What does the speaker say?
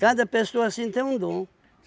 Cada pessoa assim tem um dom.